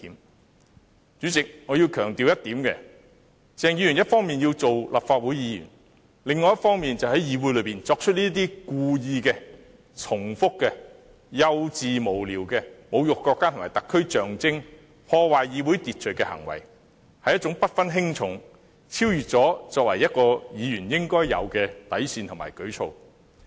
代理主席，我要強調一點，鄭議員一方面要做立法會議員，另一方面卻在議會內作出這些故意、重複、幼稚、無聊的侮辱國家和特區象徵、破壞議會秩序的行為，這是一種不分輕重、超越作為議員應有底線的舉措。